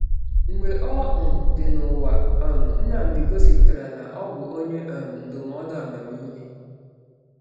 Mgbe ọ um dị n’ụwa, um Nnamdi gosipụtara na ọ bụ onye um ndụmọdụ amamihe.